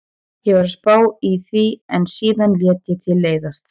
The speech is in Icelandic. Ég var að spá í því en síðan lét ég til leiðast.